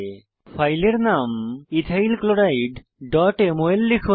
ফাইলের নাম ইথাইল chlorideমল লিখুন